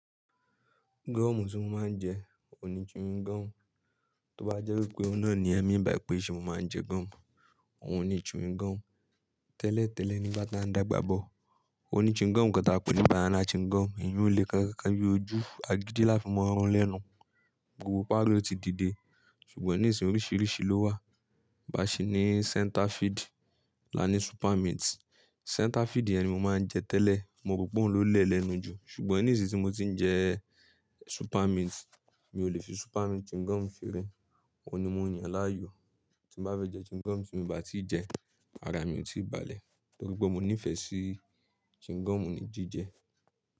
Gum tí mo máa ń jẹ oun ní chewing gum. Tí ó bá jẹ́ wípé oun na ni ẹ n bi mi í pé ṣé mo máa ń jẹ gum, òun ni chewing gum. Tẹ́lẹ̀ tẹ́lẹ̀ nígbà tí a ń dàgbà bọ̀, òní chewing gum kan táa pè é ní banana chewing gum. Èyí ó le ká ká bí ojú agídí láti fi mọ́ run lénu. Gbogbo pari o ti dìde ṣùgbọ́n nísinsìnyí oríṣiríṣi ló wà. Bá ṣe ní center field la ní super mint. Center field yẹn ni mo máa ń jẹ tẹ́lẹ̀. Mo rò pé òun ló lẹ̀ lẹ́nu jù ṣùgbọ́n nísinsìnyí tí mo ti ń jẹ super mint, mi ò lè fi super mint chewing gum sere Òun ni mo ń yan láàyò. Tí n bá fẹ́ jẹ chewing gum tí mi o bá ti jẹ, ara mi ò tí ì balẹ̀. Tori pe mo nífẹ̀ẹ́ sí chewing gum ní jíjẹ.